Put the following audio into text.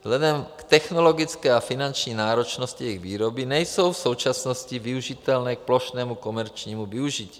Vzhledem k technologické a finanční náročnosti jejich výroby nejsou v současnosti využitelné k plošnému komerčnímu využití.